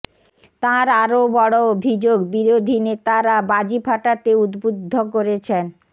তাঁর আরও বড় অভিযোগ বিরোধী নেতারা বাজি ফাটাতে উদ্বুদ্ধ করেছেন